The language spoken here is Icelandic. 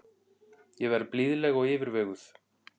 Ég verð blíðleg og yfirveguð.